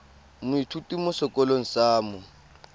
moithuti mo sekolong sa mo